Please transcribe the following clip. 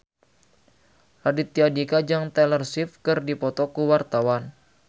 Raditya Dika jeung Taylor Swift keur dipoto ku wartawan